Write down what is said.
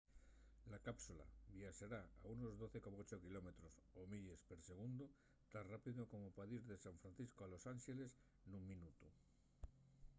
la cápsula viaxará a unos 12,8 km o 8 milles per segundu tan rápido como pa dir de san francisco a los ánxeles nun minutu